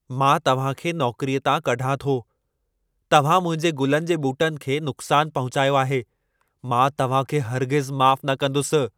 मां तव्हां खे नौकरीअ तां कढां थो। तव्हां मुंहिंजे गुलनि जे ॿूटनि खे नुक़्सान पहुचायो आहे। मां तव्हां खे हरगिज़ माफ़ न कंदुसि।